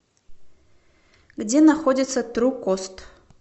где находится тру кост